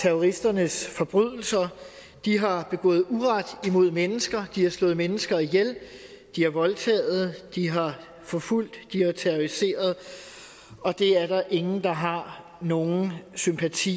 terroristernes forbrydelser de har begået uret mod mennesker de har slået mennesker ihjel de har voldtaget de har forfulgt de har terroriseret og det er der ingen der har nogen sympati